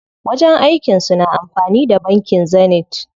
Wajen aikin su na amfani da bankin Zenith.